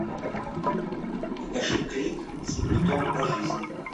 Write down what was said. покажи клик с пультом по жизни